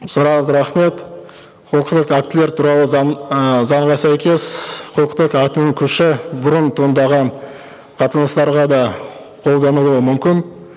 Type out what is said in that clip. сұрағыңызға рахмет актілер туралы заң ііі заңға сәйкес құқықтық актінің күші бұрын туындаған қатынастарға да қолданылуы мүмкін